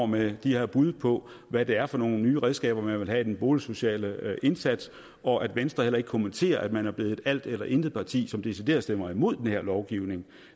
med de her bud på hvad det er for nogle nye redskaber man vil have i den boligsociale indsats og at venstre heller ikke kommenterer at man er blevet et alt eller intet parti som decideret stemmer imod den her lovgivning